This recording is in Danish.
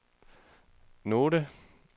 note